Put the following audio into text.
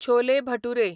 chole bhature